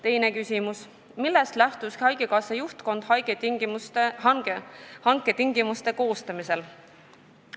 " Teine küsimus: "Millest lähtus haigekassa juhtkond hanke tingimuste koostamisel?